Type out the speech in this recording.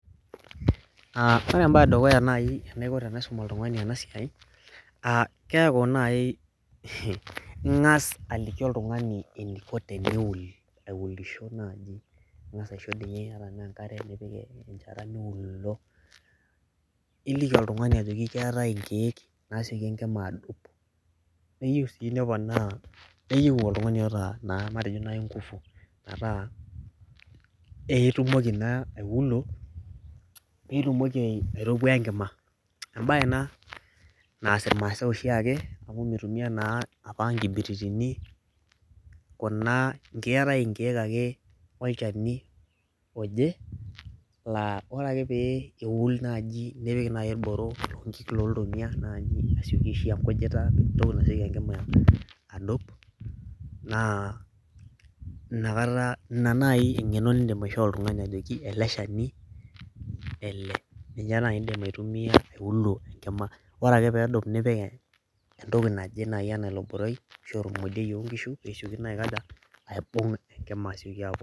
Ore ebae edukuya nai enaiko tenaisum oltung'ani enasiai, keeu nai ing'as aliki oltung'ani eniko teneol aulisho nai, ning'asa aisho ninye ata enenkare nipik enchata miulo, iliki oltung'ani ajoki keetae inkeek naseki enkima adup, neyieu si neponaa neyieu oltung'ani oota naa matejo nai ngufu, metaa itumoki naa aulo pitumoki aitopuaa enkima. Ebae ena naas irmaasai oshiake amu mitumia naa apa nkibiritini, kuna keetae inkeek ake olchani oje, laa ore ake pee eul naji nipik nai irboro lonkik loltomia naji ashu pik enkujita entoki nasioki enkima adup, naa inakata ina nai eng'eno nidim aishoo oltung'ani ajoki ele shani ele. Ninye nai idim aitumia aiulo enkima. Ore ake pedup nipik entoki naje nai enaa ilo boroi, ashu emodioi onkishu, pesioki naa aikaja, aibung' enkima asioki apok.